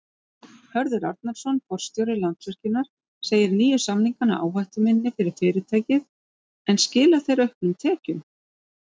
Hörður Arnarson, forstjóri Landsvirkjunar segir nýju samningana áhættuminni fyrir fyrirtækið en skila þeir auknum tekjum?